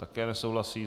Také nesouhlasí.